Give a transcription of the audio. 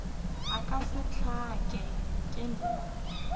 nka se hlake ke na